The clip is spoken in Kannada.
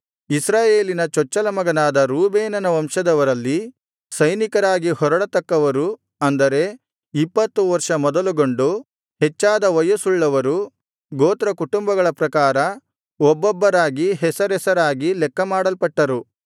ಇಸ್ರಾಯೇಲಿನ ಚೊಚ್ಚಲ ಮಗನಾದ ರೂಬೇನನ ವಂಶದವರಲ್ಲಿ ಸೈನಿಕರಾಗಿ ಹೊರಡತಕ್ಕವರು ಅಂದರೆ ಇಪ್ಪತ್ತು ವರ್ಷ ಮೊದಲುಗೊಂಡು ಹೆಚ್ಚಾದ ವಯಸ್ಸುಳ್ಳವರು ಗೋತ್ರಕುಟುಂಬಗಳ ಪ್ರಕಾರ ಒಬ್ಬೊಬ್ಬರಾಗಿ ಹೆಸರೆಸರಾಗಿ ಲೆಕ್ಕಮಾಡಲ್ಪಟ್ಟರು